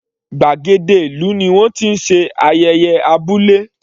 Gbàgéde ìlú ni wọ́n ti ń ṣe ayẹyẹ abúlé.